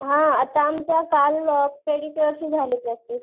हा आता आमचा काल पेडीक्युर ची झाली प्रॅक्टिस.